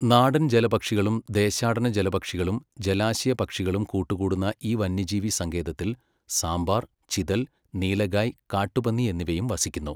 നാടൻ ജലപക്ഷികളും ദേശാടന ജലപക്ഷികളും ജലാശയ പക്ഷികളും കൂടുകൂട്ടുന്ന ഈ വന്യജീവി സങ്കേതത്തിൽ സാമ്പാർ, ചിതൽ, നീലഗായ്, കാട്ടു പന്നി എന്നിവയും വസിക്കുന്നു.